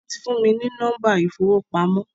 Wọn tí fún mi ní nọ́mba ìfowópamọ́